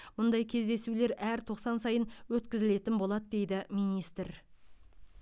мұндай кездесулер әр тоқсан сайын өткізілетін болады дейді министр